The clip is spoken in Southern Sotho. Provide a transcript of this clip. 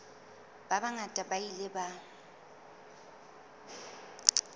ba bangata ba ile ba